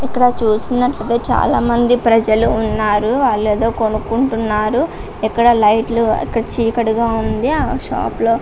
ఇక్కడ చూసినట్లయితేచాలా మంది ప్రజలు ఉన్నారు.వాళ్లు ఏదో కొనుకుంటున్నారు. ఇక్కడ లైట్లు ఇక్కడ చీకటిగా ఉంది. ఆ షాపు లో--